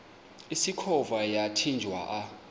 usikhova yathinjw a